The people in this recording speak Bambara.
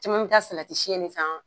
Caman bi taa de san.